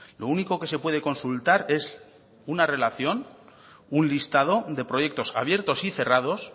lo único que se puede consultar es una relación un listado de proyectos abiertos y cerrados